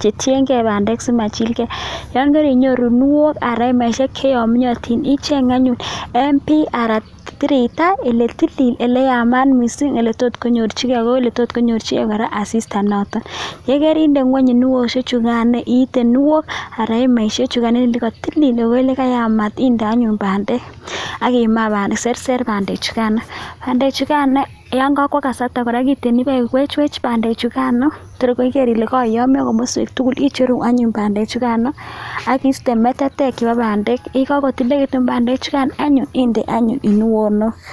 che tiengei bandek simachilkei, yon karinyoru kuniok anan hemaishek che yomyotin icheng anyun eng bii anan tireito ole tili ole yamat mising ole tot nyorchikei ak ole tot nyorchikei kora asista notok. Ye kerinde ngwony kuniosiek chukan, iite kuniok anan hemaishek chukan inde ole katilil ak ole kayamat inde anyun bandek ak iserser bandek chukan. Bandechukan yon kakwo kasarta kora kiiten ipiwechwech bandek chukano tor igeer ile kokayomio komaswek tugul icheru anyun bandechukano aki iiste metetek chebo bandek, ye kakotililekitun bandechukan anyun indee anyun kunuonok.